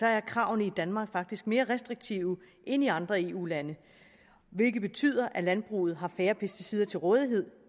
er kravene i danmark faktisk mere restriktive end i andre eu lande hvilket betyder at landbruget har færre pesticider til rådighed